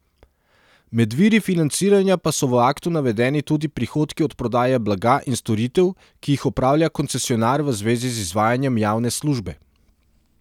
Med viri financiranja pa so v aktu navedeni tudi prihodki od prodaje blaga in storitev, ki jih opravlja koncesionar v zvezi z izvajanjem javne službe.